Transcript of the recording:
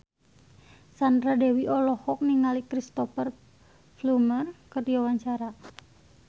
Sandra Dewi olohok ningali Cristhoper Plumer keur diwawancara